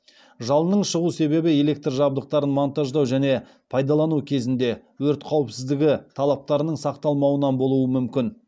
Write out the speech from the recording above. жалынның шығу себебі электр жабдықтарын монтаждау және пайдалану кезінде өрт қауіпсіздігі талаптарының сақталмауынан болуы мүмкін